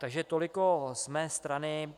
Takže tolik z mé strany.